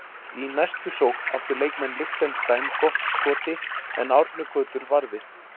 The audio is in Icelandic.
Í næstu sókn áttu leikmenn Liechtenstein gott skoti en Árni Gautur varði.